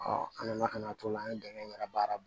an nana ka na t'o la an ye dɛmɛ in yɛrɛ baara